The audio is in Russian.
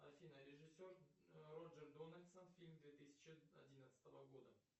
афина режиссер роджер дональдсон фильм две тысячи одиннадцатого года